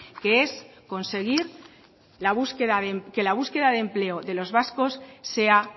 que es conseguir que la búsqueda de empleo de los vascos sea